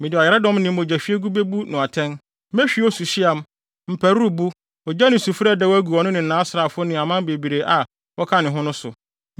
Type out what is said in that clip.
Mede ɔyaredɔm ne mogyahwiegu bebu no atɛn, mehwie osuhweam, mparuwbo, ogya ne sufre a ɛdɛw agu ɔno ne nʼasraafo ne aman bebree a wɔka ne ho no so.